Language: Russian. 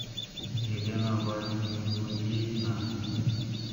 елена валиуллина